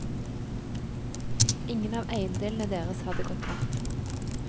Ingen av eiendelene deres hadde gått tapt.